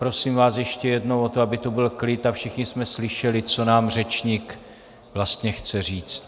Prosím vás ještě jednou o to, aby tu byl klid a všichni jsme slyšeli, co nám řečník vlastně chce říct.